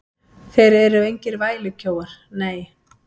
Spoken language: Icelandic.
Þeir eru engir vælukjóar, nei.